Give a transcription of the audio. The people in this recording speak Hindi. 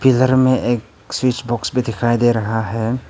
पिलर में एक स्विच बॉक्स भी दिखाई दे रहा है।